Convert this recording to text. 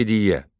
Rəşidiyyə.